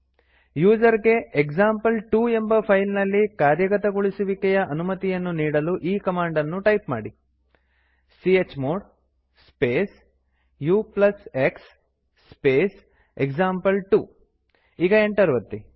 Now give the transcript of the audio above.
user ಗೆ example two ಎಂಬ file ನಲ್ಲಿ ಕಾರ್ಯಗತಗೊಳಿಸುವಿಕೆಯ ಅನುಮತಿಯನ್ನು ನೀಡಲು ಈ ಕಮಾಂಡ್ ಅನ್ನು ಟೈಪ್ ಮಾಡಿ chmod space ux space example two ಈಗ ಎಂಟರ್ ಒತ್ತಿ